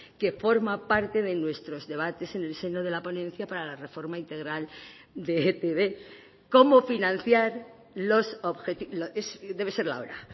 que forma parte de nuestros debates en el seno de la ponencia para la reforma integral de etb cómo financiar los debe ser la hora